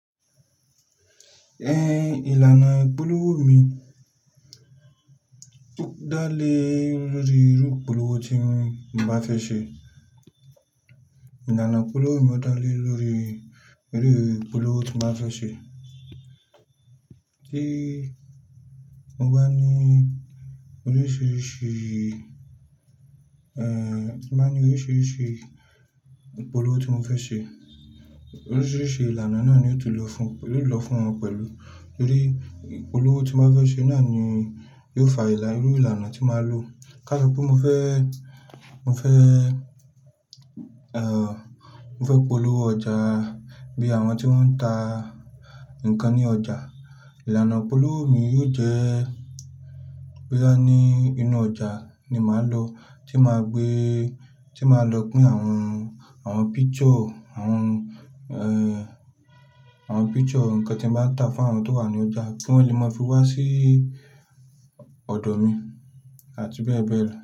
Ẹn, ìlànà ìpolówó mi dá lé lórí irú ìpolówó tí mo bá fẹ́ ṣe. Ìlànà ìpolówó mi ó dá lé lórí irú ìpolówó tí mo bá fẹ́ ṣe. Tí mo bá ní oríṣiríṣi, ẹ́ ti mo bá ní oríṣiríṣi ìpolówó tí mo fẹ́ ṣe, oríṣiríṣi ìlànà náà ni ó tó lọ fún, ló lọ fún wọn pẹ̀lú. Nítorí ìpolówó tí mo bá fẹ́ ṣe náà ni yóò fa ìlà irú ìlànà tí màá lò. Ká so pé mo fẹ́, mo fẹ́, ẹ́ mo fẹ́ polówó ọjà bí àwọn tí wọ́n ń ta nǹkan ní ọjà, ìlànà ìpolówó mi yóò jẹ́ boya ní inú ọjà ni màá lọ, tí màá gbé, tí màá lọ pín àwọn, àwọn picture, àwọn ẹ́ àwọn picture ǹkan tí mo bá ta fún àwọn tó wà ní ọjà kí wọ́n lè máa fi wá sí ọ̀dọ̀ mi àti bẹ́ẹ̀ bẹ́ẹ̀ lọ.